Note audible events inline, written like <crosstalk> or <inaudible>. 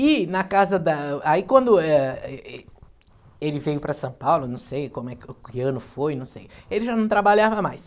E na casa da... <unintelligible> Aí quando eh ê ê ele veio para São Paulo, não sei que ano foi, não sei, ele já não trabalhava mais.